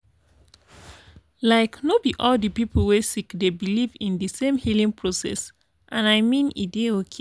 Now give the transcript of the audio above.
like no be all the people wey sick dey believe in de same healing process and i mean e dey okay